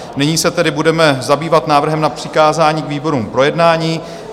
Nyní se tedy budeme zabývat návrhem na přikázání výborům k projednání.